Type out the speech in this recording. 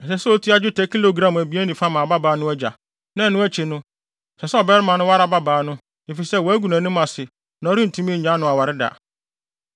ɛsɛ sɛ otua dwetɛ kilogram abien ne fa ma ababaa no agya. Na ɛno akyi no, ɛsɛ sɛ ɔbarima no ware ababaa no, efisɛ wagu nʼanim ase na ɔrentumi nnyae no aware da.